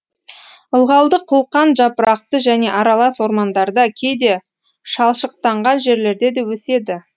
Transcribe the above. ылғалды қылқан жапырақты және аралас ормандарда кейде шалшықтанған жерлерде де өседі